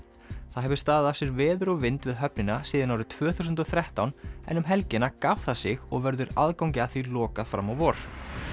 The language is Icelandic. það hefur staðið af sér veður og vind við höfnina frá tvö þúsund og þrettán en um helgina gaf það sig og verður aðgangi að því lokað fram á vor